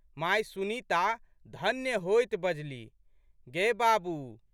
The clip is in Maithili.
माय सुनीता धन्य होइत बजलीह, गे बाबू!